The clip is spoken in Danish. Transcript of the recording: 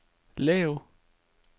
lav